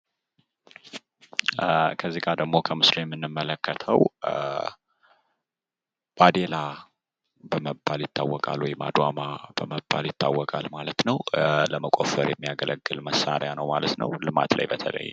ለተለያዩ የእጅ ሥራዎችና ጥገናዎች የሚያስፈልጉ እንደ መዶሻና ስክራውድራይቨር ያሉ ነገሮች።